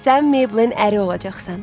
Sən Meyblin əri olacaqsan.